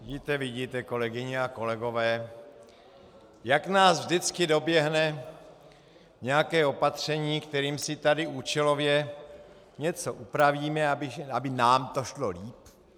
Vidíte, vidíte, kolegyně a kolegové, jak nás vždycky doběhne nějaké opatření, kterým si tady účelově něco upravíme, aby nám to šlo líp.